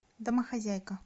домохозяйка